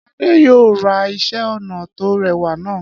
Adé yóò ra iṣẹ́-ọnà tó rẹwà náà.